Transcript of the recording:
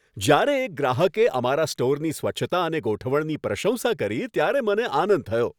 જ્યારે એક ગ્રાહકે અમારા સ્ટોરની સ્વચ્છતા અને ગોઠવણની પ્રશંસા કરી ત્યારે મને આનંદ થયો.